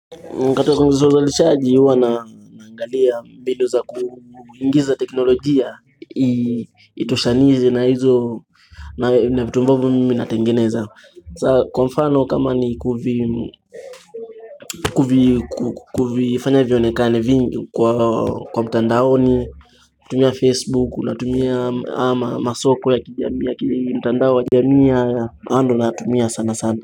Mkatozo mkatozozo licharji uwa naangalia mbindu za kuingiza teknolojia Itoshanize na hizo na vitu ambavo mimi natengeneza saa kwa mfano kama ni kufanya vionekane vingi kwa mtandaoni tumia facebook natumia ama masoko ya kijami ya kijami ya kijami ya ando na tumia sana sana.